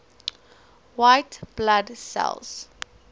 white blood cells